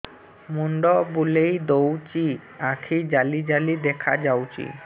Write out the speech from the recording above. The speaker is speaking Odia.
ମୁଣ୍ଡ ବୁଲେଇ ଦଉଚି ଆଖି ଜାଲି ଜାଲି ଦେଖା ଯାଉଚି